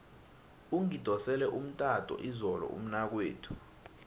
ungidosele umtato izolo umnakwethu